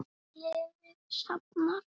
Liði safnað.